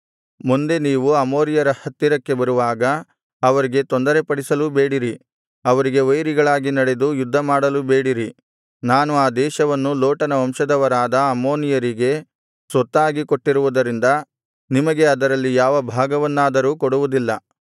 ಮುಂದೆ ನೀವು ಅಮೋನಿಯರ ಹತ್ತಿರಕ್ಕೆ ಬರುವಾಗ ಅವರಿಗೆ ತೊಂದರೆಪಡಿಸಲೂ ಬೇಡಿರಿ ಅವರಿಗೆ ವೈರಿಗಳಾಗಿ ನಡೆದು ಯುದ್ಧಮಾಡಲೂಬೇಡಿರಿ ನಾನು ಆ ದೇಶವನ್ನು ಲೋಟನ ವಂಶದವರಾದ ಅಮ್ಮೋನಿಯರಿಗೆ ಸ್ವತ್ತಾಗಿ ಕೊಟ್ಟಿರುವುದರಿಂದ ನಿಮಗೆ ಅದರಲ್ಲಿ ಯಾವ ಭಾಗವನ್ನಾದರೂ ಕೊಡುವುದಿಲ್ಲ